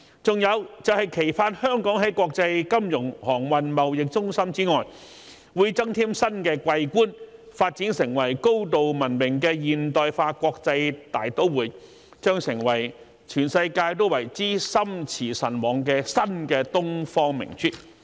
還有，期盼香港在國際金融、航運、貿易中心之外，會增添新的桂冠，發展成為高度文明的現代化國際大都會，將成為全世界都為之心馳神往的新東方明珠。